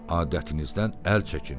Adətinizdən əl çəkin.